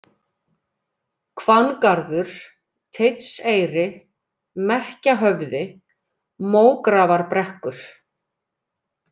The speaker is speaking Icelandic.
Hvanngarður, Teitseyri, Merkjahöfði, Mógrafarbrekkur